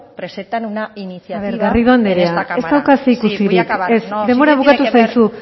presenta una iniciativa a ver garrido andrea ez dauka zerikusirik ez denbora bukatu zaizu